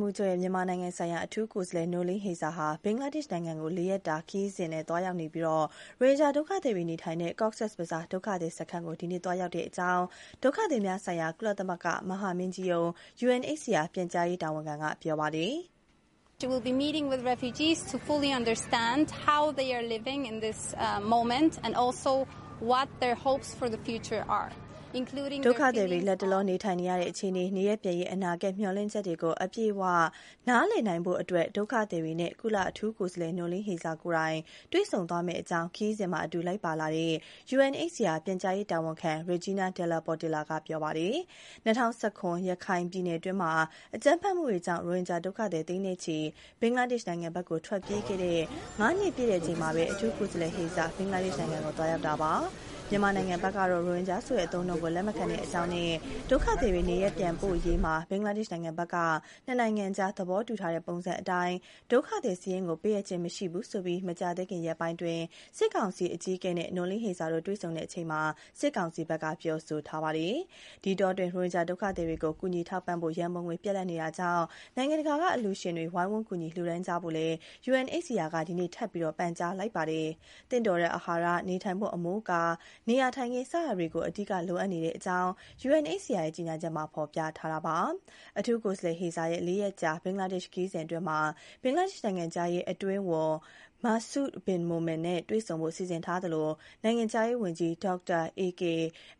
မှူးချုပ်ရဲ့ မြန်မာနိုင်ငံဆိုင်ရာ အထူးကိုယ်စားလှယ် Noeleen Heyzer ဟာ ဘင်္ဂလားဒေ့ရှ် နိုင်ငံကို ၄ ရက်ကြာ ခရီးရောက်နေပြီး ရိုဟင်ဂျာဒုက္ခသည်တွေ နေထိုင်တဲ့ Cox’s Bazaar ဒုက္ခသည်စခန်းကို ဒီကနေ့ သွားရောက်တဲ့အကြောင်း ဒုက္ခသည်များဆိုင်ရာ ကုလသမဂ္ဂမဟာမင်းကြီးရုံး UNHCR ပြန်ကြားရေးတာဝန်ခံက ပြောပါတယ်။ “ဒုက္ခသည်တွေ လတ်တလော နေထိုင်နေရတဲ့ အခြေအနေ၊ နေရပ်ပြန်ရေး အနာဂတ် မျှော်လင့်ချက်တွေကို အပြည့်အဝ နည်းလည်နိုင်ဖို့အတွက် ဒုက္ခသည်တွေနဲ့ ကုလအထူးကိုယ်စားလှယ် Noeleen Heyzer ကိုယ်တိုင် တွေ့ဆုံသွားမယ့်အကြောင်း” ခရီးစဉ်မှာ အတူလိုက်ပါလာတဲ့ UNHCR ပြန်ကြားရေးတာဝန်ခံ Egina de la Portilla ပြောသွားတာပါ။ ၂၀၁၇ ခုနှစ် ရခိုင်ပြည်နယ်တွင်း အကြမ်းဖက်မှုတွေကြောင့် ရိုဟင်ဂျာဒုက္ခသည် သိန်းချီ ဘင်္ဂလားဒေရှ့်နိုင်ငံဘက်ကို ထွက်ပြေးခဲ့တဲ့ ၅ နှစ်ပြည့်ချိန်မှာပဲ အထူးကိုယ်စားလှယ် Noeleen Heyzer ဘင်္ဂလားဒေ့ရှ်နိုင်ငံကို သွားရောက်တာပါ။ မြန်မာနိုင်ငံဘက်ကတော့ ရိုဟင်ဂျာဆိုတဲ့နာမည်ကို လက်မခံတဲ့အကြောင်းနဲ့ ဒုက္ခသည် နေရပ်ပြန်ပို့ရေးမှာ ဘင်္ဂလားဒေ့ရှ်နိုင်ငံဘက်က နှစ်နိုင်ငံအကြား သဘောတူထားတဲ့ ပုံစံအတိုင်း ဒုက္ခသည်စာရင်းကို ပေးအပ်ခြင်းမရှိဘူးဆိုပြီး မကြာသေးခင်ရက်ပိုင်း စစ်ကောင်စီအကြီးအကဲနဲ့ Noeleen Heyzer တွေ့ဆုံခဲ့တဲ့အချိန်မှာ စစ်ကောင်စီဘက်က ပြောဆိုထားပါတယ်။ ဒီအတောအတွင်း ရိုဟင်ဂျာဒုက္ခသည်တွေကို ကူညီထောက်ပံ့ဖို့ ရန်ပုံငွေ ပြတ်လပ်နေပြီမို့ နိုင်ငံတကာက အလှူရှင်တွေဝိုင်းဝန်းကူညီလှူဒါန်းကြဖို့ UNHCR က ဒီကနေ့ ထပ်မံ ပန်ကြားလိုက်ပါတယ်။ သင့်တော်တဲ့ အာဟာရ၊ နေထိုင်ဖို့ အမိုးအကာ နေရာထိုင်ခင်း စတာတွေ အဓိကလိုအပ်နေကြောင်း UNHCR ရဲ့ ကြေညာချက်မှာ ဖော်ပြထားပါတယ်။ အထူးကိုယ်စားလှယ် Heyzer ရဲ့ ၄ ရက်ကြာ ဘင်္ဂလားဒေ့ရှ် ခရီးစဉ်အတွင်းမှာတော့ ဘင်္ဂလားဒေ့ရှ်နိုင်ငံခြားရေး အတွင်းဝန် Masud Bin Momen (မာဆု ဘင် မိုမင်) နဲ့ တွေ့ဆုံဖို့ စီစဉ်ထားသလို နိုင်ငံခြားရေးဝန်ကြီး Dr. AK Abdul Momen (ဒေါက်တာ အေကေ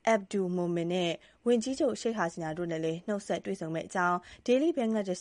အက်ဘ်ဒူးလ် မိုမင်) နဲ့ ဝန်ကြီးချုပ် Sheikh Hasina တို့ကိုလည်း နှုတ်ဆက်တွေ့ဆုံမယ့်အကြောင်း Daily Bangladesh